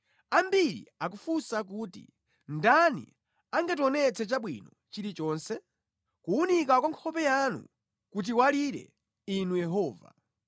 Ambiri akufunsa kuti, “Ndani angationetse chabwino chilichonse?” Kuwunika kwa nkhope yanu kutiwalire, Inu Yehova.